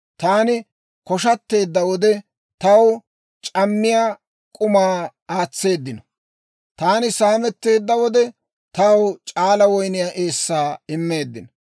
Taani koshateedda wode, taw c'ammiyaa k'umaa aatseeddino. Taani saametteedda wode, taw c'aala woyniyaa eessaa immeeddino.